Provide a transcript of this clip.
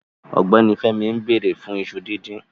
Ọgbẹni Fẹmí n bẹ̀rẹ̀ fun ìṣu dídìn